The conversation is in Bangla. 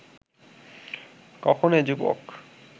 কখন এ যুবক